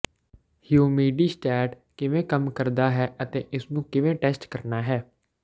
humidistat ਕਿਵੇਂ ਕੰਮ ਕਰਦਾ ਹੈ ਅਤੇ ਇਸ ਨੂੰ ਕਿਵੇਂ ਟੈਸਟ ਕਰਨਾ ਹੈ